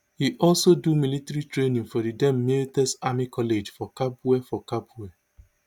e also do military training for di den miltez army college for kabwe for kabwe